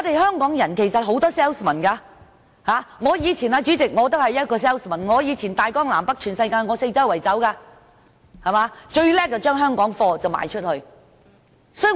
香港其實有很多銷售員，主席，我以前也是一名銷售員，走遍大江南北全世界，最擅長把香港貨品賣出去。